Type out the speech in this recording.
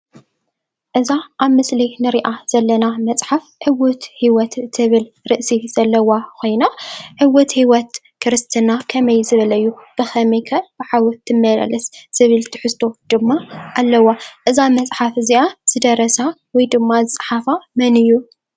እዛ ኣብ ምስሊ ንሪኣ ዘለና መፅሓፍ "ዕዉት ህይወት" ትብል ርእሲ ዘለዋ ኾይና ዕዉት ህይወት ክርስትና ከመይ ዝበለ እዩ? ብኸመይ ከ ኣብ ሓዊ ትመላለስ ዝብል ትሕዝቶ ድማ ኣለዋ፡፡ እዛ መፅሓፍ እዚኣ ዝደረሳ ወይ ድማ ዝፀሓፋ መን እዩ?